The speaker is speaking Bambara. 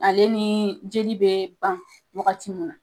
Ale nii jeli be ban wagati min na